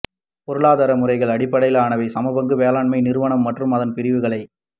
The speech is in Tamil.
பொருளாதார முறைகள் அடிப்படையிலானவை சமபங்கு மேலாண்மை நிறுவனம் மற்றும் அதன் பிரிவுகளை